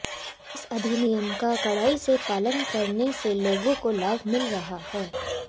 इस अधिनियम का कड़ाई से पालन करने से लोगो को लाभ मिल रहा है